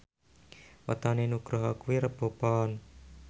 wetone Nugroho kuwi Rebo Pon